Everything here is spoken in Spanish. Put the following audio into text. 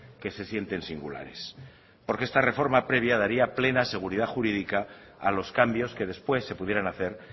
que se sienten singulares porque esta reforma previa daría plena seguridad jurídica a los cambios que después se pudieran hacer